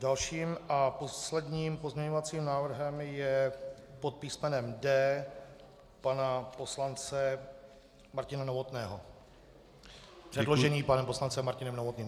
Dalším a posledním pozměňovacím návrhem je pod písmenem D pana poslance Martina Novotného - předložený panem poslancem Martinem Novotným.